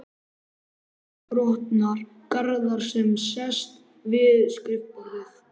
Arndísar, botnar Garðar sem sest við skrifborðið.